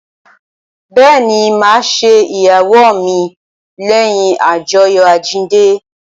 Bẹẹni, ma ṣe ìyàwó mi leyin ajoyo àjíǹde